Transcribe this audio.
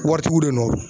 Waritigiw de don